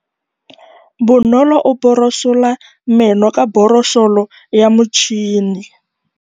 Bonolô o borosola meno ka borosolo ya motšhine.